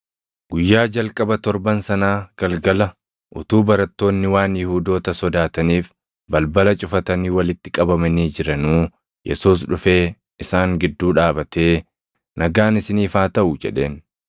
Guyyaa jalqaba torban sanaa galgala utuu barattoonni waan Yihuudoota sodaataniif balbala cufatanii walitti qabamanii jiranuu Yesuus dhufee isaan gidduu dhaabatee, “Nagaan isiniif haa taʼu” jedheen.